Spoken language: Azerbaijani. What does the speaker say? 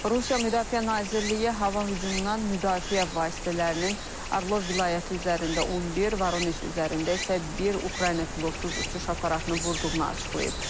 Rusiya Müdafiə Nazirliyi hava hücumundan müdafiə vasitələrinin Arlov vilayəti üzərində 11, Voronej üzərində isə bir Ukrayna pilotsuz uçuş aparatını vurduğunu açıqlayıb.